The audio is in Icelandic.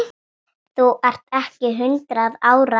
Þú ert ekki hundrað ára!